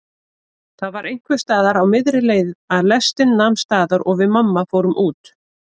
Það var einhversstaðar á miðri leið að lestin nam staðar og við mamma fórum út.